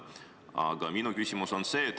Aga minu küsimus on see.